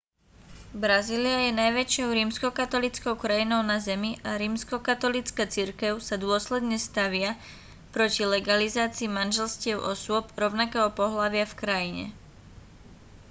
brazília je najväčšou rímskokatolíckou krajinou na zemi a rímskokatolícka cirkev sa dôsledne stavia proti legalizácii manželstiev osôb rovnakého pohlavia v krajine